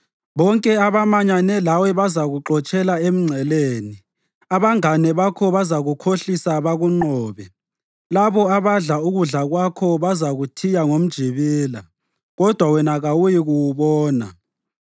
Bonke abamanyane lawe bazakuxotshela emngceleni; abangane bakho bazakukhohlisa bakunqobe; labo abadla ukudla kwakho bazakuthiya ngomjibila, kodwa wena kawuyikuwubona.